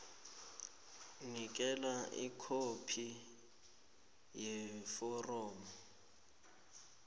nikela ikhophi yeforomo